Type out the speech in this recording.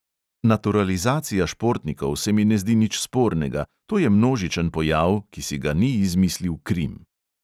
Naturalizacija športnikov se mi ne zdi nič spornega, to je množičen pojav, ki si ga ni izmislil krim!